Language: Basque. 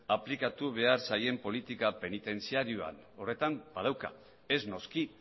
aplikatu behar zaien politika penitentziarioan horretan badauka ez noski